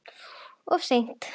Of seint.